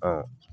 Ɔ